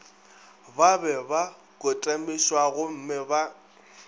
ba be ba kotamišwagomme ba